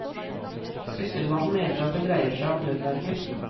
Sysselmannen mener at det dreier seg om nødverge.